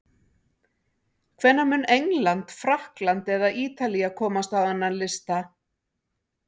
Hvenær mun England, Frakkland eða Ítalía komast á þennan lista?